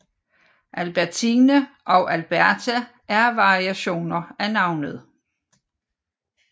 Albertine og Alberta er variationer af navnet